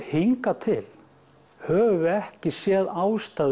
hingað til höfum við ekki séð ástæðu